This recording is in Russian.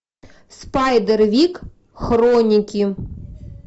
спайдервик хроники